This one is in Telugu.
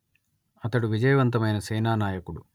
అతడు విజయవంతమైన సేనానాయకుడు